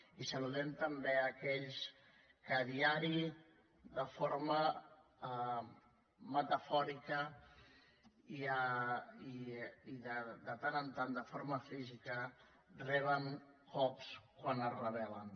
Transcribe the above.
i saludem també aquells que a diari de forma metafòrica i de tant en tant de forma física reben cops quan es rebel·len